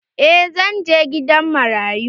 Eh zan je gidan marayu.